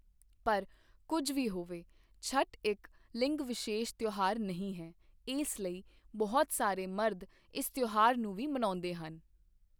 ਪਰ ਕੁੱਝ ਵੀ ਹੋਵੇ, ਛਠ ਇੱਕ ਲਿੰਗ ਵਿਸ਼ੇਸ਼ ਤਿਉਹਾਰ ਨਹੀਂ ਹੈ ਇਸ ਲਈ ਬਹੁਤ ਸਾਰੇ ਮਰਦ ਇਸ ਤਿਉਹਾਰ ਨੂੰ ਵੀ ਮਨਾਉਂਦੇ ਹਨ।